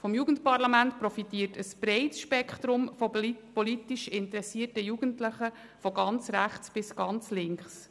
Vom Jugendparlament profitiert ein breites Spektrum politisch interessierter Jugendlicher von ganz rechts bis ganz links.